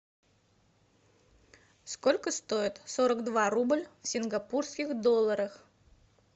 сколько стоит сорок два рубль в сингапурских долларах